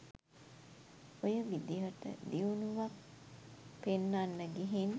ඔය විදිහට දියුණුවක් පෙන්නන්න ගිහින්